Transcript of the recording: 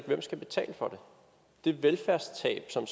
hvem skal betale for det velfærdstab som